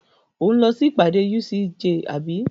Ò ń lọ sí ìpàdé UCJ àbí?